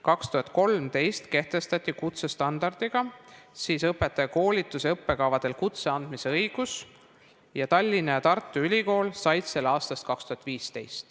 2013 kehtestati kutsestandardiga õpetajakoolituse õppekavade alusel kutse andmise õigus ja Tallinna ja Tartu Ülikool said selle aastast 2015.